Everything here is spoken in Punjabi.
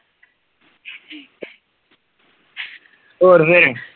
ਹੋਰ ਫੇਰ